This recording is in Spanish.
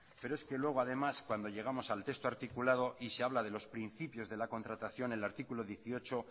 pero es que luego además cuando llegamos al texto articulado y se habla de los principios de la contratación el artículo dieciocho